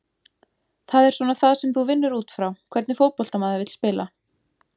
Það er svona það sem þú vinnur útfrá, hvernig fótbolta maður vill spila?